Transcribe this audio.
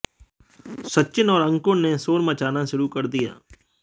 सचिन और अंकुर ने शोर मचाना शुरू कर दिया